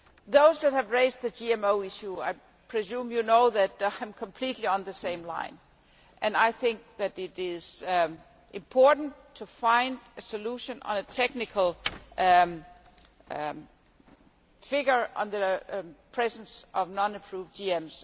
Those that have raised the GMO issue, I presume you know that I think completely along the same lines, and I think that it is important to find a solution on a technical figure on the presence of non approved GMs.